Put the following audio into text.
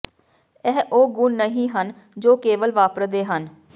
ਇਹ ਉਹ ਗੁਣ ਨਹੀਂ ਹਨ ਜੋ ਕੇਵਲ ਵਾਪਰਦੇ ਹਨ